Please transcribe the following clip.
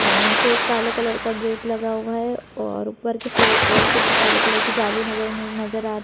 और नीचे एक काले कलर का गेट लगा हुआ है और ऊपर की फ्लैट कुछ काले कलर जाली लगी हुई नज़र आ--